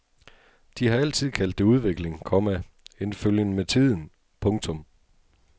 De har altid kaldt det udvikling, komma en følgen med tiden. punktum